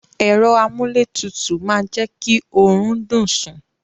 Èro amúlé tutù ma je ki orun dùn sun